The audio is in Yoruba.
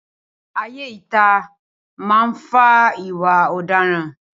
Ayé ìta máa ń fa ìwà ọ̀daràn